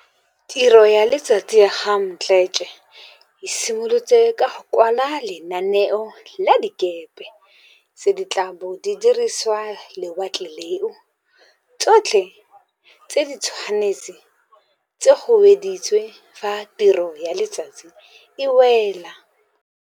Tiro ya letsatsi ya ga Mdletshe e simolola ka go kwa la lenaneo la dikepe tse di tla bong di dirisa lewatle leo, tsotlhe tse di tshwane tse go wediwa fa tiro ya letsatsi e wela.